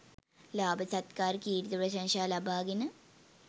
ලාභ සත්කාර කීර්ති ප්‍රශංසා ලබාගෙන